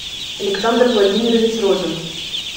александр владимирович родин